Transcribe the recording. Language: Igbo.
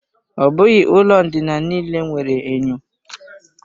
Ọ bụghị ụlọ ndina niile nwere enyo.